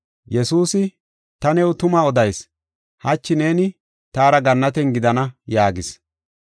Yesuusi, “Ta new tuma odayis; hachi neeni taara gannaten gidana” yaagis.